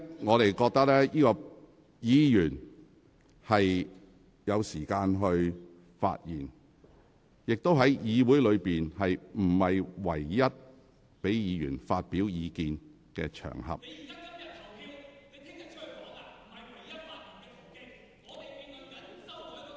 我認為議員是有時間發言的，而且議會也不是唯一讓議員發表意見的場合。